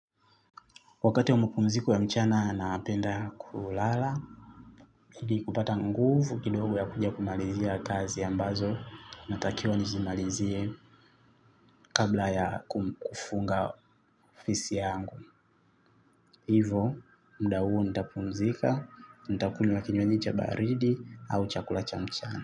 Wakati wa mapumziko ya mchana napenda kulala, ili kupata nguvu kidogo ya kuja kumalizia kazi ambazo, natakiwa nizimalizie kabla ya kufunga ofisi yangu. Hivo, muda huo nitapumzika, nitakunywa kinywaji cha baridi au chakula cha mchana.